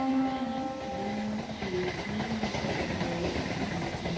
kibedo dero ceng tye matye ka goyo wi pi.